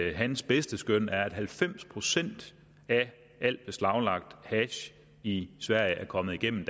at hans bedste skøn er at halvfems procent af al beslaglagt hash i sverige er kommet igennem